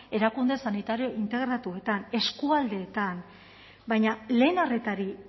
erakunde sanitario integratuetan eskualdeetan baina lehen arretari